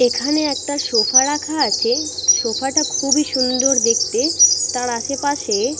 এখানে একটা সোফা রাখা আছে। সোফা টা খুবই সুন্দর। দেখতে তার আশেপাশে--